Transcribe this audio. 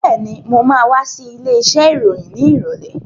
Been, mo ma wá sí ilé iṣẹ́ ìròyìn ní ìrọ̀lẹ́